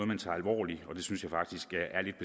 man tager alvorligt og det synes jeg faktisk